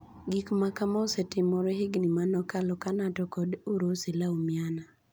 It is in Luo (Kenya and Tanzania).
Gik ma kamaa osetimore higni manokalo kaa Nato kod Urusi laumiana,